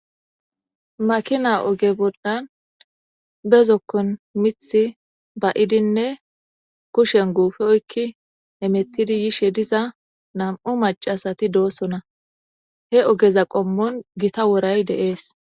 Makina oge boldan bezokkon mithi ba7idinne kushen guufe oykki emettidi yishe diza nam7u macasati doosona he ogeza qommon gita woray deees.